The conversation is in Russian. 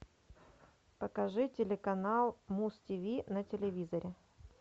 покажи телеканал муз тиви на телевизоре